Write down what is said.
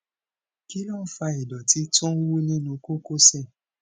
kí ló ń fa ìdọtí tó ń wú nínú kókósẹ